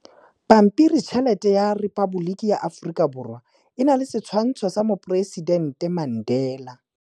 Pampiritšheletê ya Repaboliki ya Aforika Borwa e na le setshwantshô sa poresitentê Mandela.